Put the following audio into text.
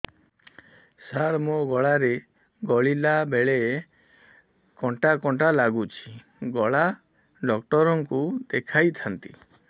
ସାର ମୋ ଗଳା ରେ ଗିଳିଲା ବେଲେ କଣ୍ଟା କଣ୍ଟା ଲାଗୁଛି ଗଳା ଡକ୍ଟର କୁ ଦେଖାଇ ଥାନ୍ତି